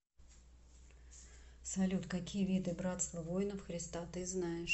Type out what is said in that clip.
салют какие виды братство воинов христа ты знаешь